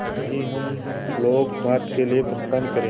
कल ही हम लोग भारत के लिए प्रस्थान करें